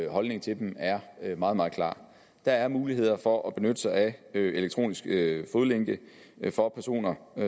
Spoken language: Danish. og holdningen til dem er meget meget klar der er muligheder for at benytte sig af elektronisk fodlænke for personer